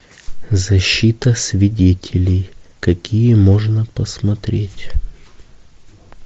защита свидетелей какие можно посмотреть